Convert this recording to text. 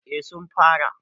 eh sun fara